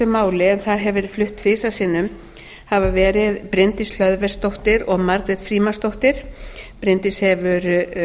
máli en það hefur verið flutt tvisvar sinnum hafa verið bryndís hlöðversdóttir og margrét frímannsdóttir bryndís hefur